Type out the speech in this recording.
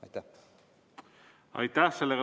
Aitäh!